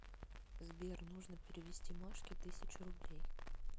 сбер нужно перевести машке тысячу рублей